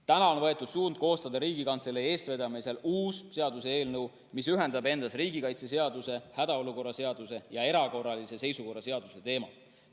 Nüüd on võetud suund koostada Riigikantselei eestvedamisel uus seaduseelnõu, mis ühendab endas riigikaitseseaduse, hädaolukorra seaduse ja erakorralise seisukorra seaduse teemad.